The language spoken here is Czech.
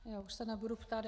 Já už se nebudu ptát.